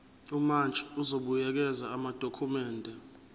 umantshi uzobuyekeza amadokhumende